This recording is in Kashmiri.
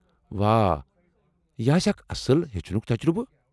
واہ! یہ آسہ اکھ اصٕل ہیٚچھنک تجربہٕ۔